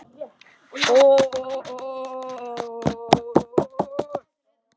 Verði það sem verða vill!